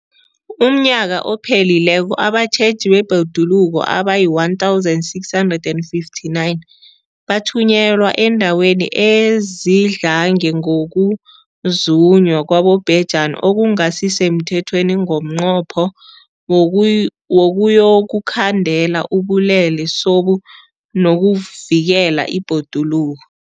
UmNnyaka ophelileko abatjheji bebhoduluko abayi-1 659 bathunyelwa eendaweni ezidlange ngokuzunywa kwabobhejani okungasi semthethweni ngomnqopho wokuyokukhandela ubulelesobu nokuvikela ibhoduluko.